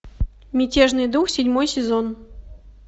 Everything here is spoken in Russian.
мятежный дух седьмой сезон